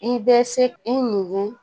I bɛ se i ni